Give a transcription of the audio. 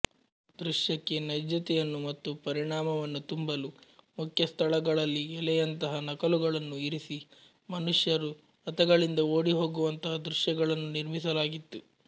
ದೃಶ್ಯಕ್ಕೆ ನೈಜ್ಯತೆಯನ್ನು ಮತ್ತು ಪರಿಣಾಮವನ್ನು ತುಂಬಲು ಮುಖ್ಯ ಸ್ಥಳಗಳಲ್ಲಿ ಎಲೆಯಂತಹ ನಕಲುಗಳನ್ನು ಇರಿಸಿ ಮನುಷ್ಯರು ರಥಗಳಿಂದ ಓಡಿಹೋಗುವಂತಹ ದೃಶ್ಯಗಳನ್ನು ನಿರ್ಮಿಸಲಾಗಿತ್ತು